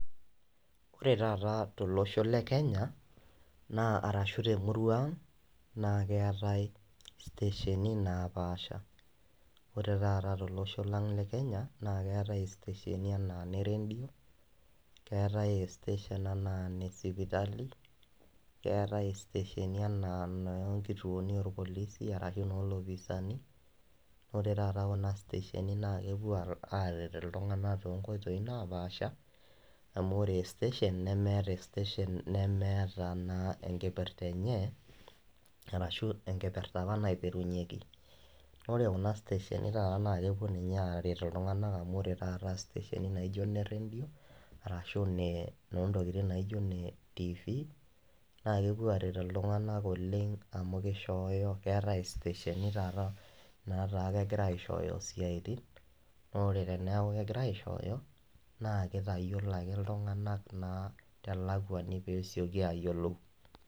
Ore taata tolosho le Kenya naa arashu te emurua aang' naa keatai inkitesheni napaasha. Ore taata tolosho lang' le Kenya naa keatai inkitesheni anaa ine redio, eatai siteshen anaa ene sipitali, keatai inkitesheni anaa inoo inkituoni olpilisi ashu noo ilopisaani. Ore taa too Kuna kitesheni naa kepuoi aret iltung'ana too inkoitoi napaasha amu ore siteshen nemeata naa enkipirta enye arashu enkipirta apa naipirunyieki. Ore Kuna kitesheni naa taata naa kepuo aret iltung'ana amu ore taata inkitesheni naijo one redio ashu ine inoontokitin naijo one tiifi, naa kepuo aretoo iltung'ana oleng' amu keishooyo keatai inkitesheni taata naatai kegira aishooyo isiaitin. Naa ore teneaku egirai aishooyo, naa keitayiolou ake iltung'ana te lakwani tenesioki ayiolou.